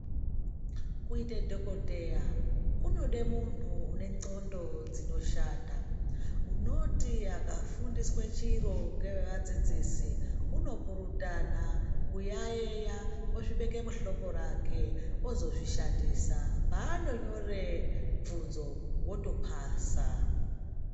Kuita dhokodheya kunoda muntu une ngxondo dzinoshanda. Unoti akafundiswa chiro ngeadzidzisi unopurutana, kuyaeya ozvibeka muhloko rake. Ozozvishandisa paanonyore bvunzo otopasa.